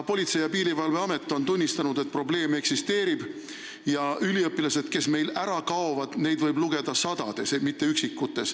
Ka Politsei- ja Piirivalveamet on tunnistanud, et probleem eksisteerib ja üliõpilasi, kes meil ära kaovad, võib lugeda sadades, neid ei ole üksikuid.